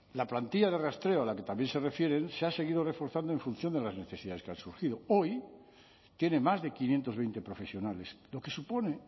la plantilla de rastreo a la que también se refieren se ha seguido reforzado en función de las necesidades que han surgido hoy tiene más de quinientos veinte profesionales lo que supone